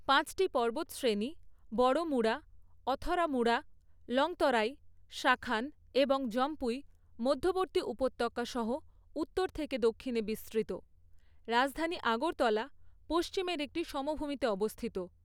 পাঁচটি পর্বতশ্রেণী বড়মুড়া, অথরামুড়া, লংতরাই, শাখান এবং জম্পুই মধ্যবর্তী উপত্যকা সহ উত্তর থেকে দক্ষিণে বিস্তৃত; রাজধানী আগরতলা পশ্চিমের একটি সমভূমিতে অবস্থিত।